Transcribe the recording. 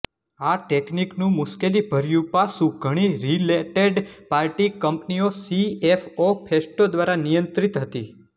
આ ટેકનિકનું મુશ્કેલીભર્યું પાસું ઘણી રીલેટેડપાર્ટી કંપનીઓ સીએફઓ ફેસ્ટો દ્વારા નિયંત્રિત હતી